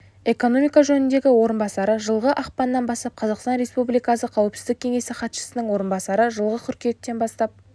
экономика жөніндегі орынбасары жылғы ақпаннан бастап қазақстан республикасы қауіпсіздік кеңесі хатшысының орынбасары жылғы қыркүйектен бастап